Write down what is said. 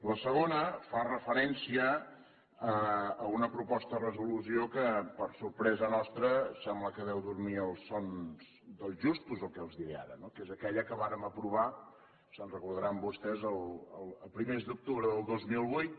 la segona fa referència a una proposta de resolució que per a sorpresa nostra sembla que deu dormir els sons dels justos el que els diré ara no que és aquella que vàrem aprovar se’n recordaran vostès a primers d’octubre del dos mil vuit